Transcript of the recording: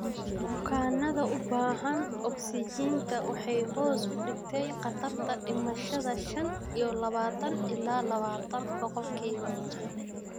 Bukaannada u baahan ogsijiinta waxay hoos u dhigtay khatarta dhimashada shan iyo labatan ilaa labatan boqolkiiba.